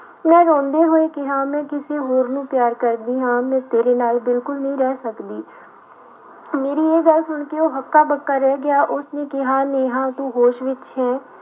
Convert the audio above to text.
ਮੈਂ ਰੋਂਦੇ ਹੋਏ ਕਿਹਾ ਮੈਂ ਕਿਸੇ ਹੋਰ ਨੂੰ ਪਿਆਰ ਕਰਦੀ ਹਾਂ ਮੈਂ ਤੇਰੇ ਨਾਲ ਬਿਲਕੁਲ ਨਹੀਂ ਰਹਿ ਸਕਦੀ ਮੇਰੀ ਇਹ ਗੱਲ ਸੁਣ ਕੇ ਉਹ ਹੱਕਾ ਬੱਕਾ ਰਹਿ ਗਿਆ ਉਸਨੇ ਕਿਹਾ ਨੇਹਾਂ ਤੂੰ ਹੋਸ਼ ਵਿੱਚ ਹੈ,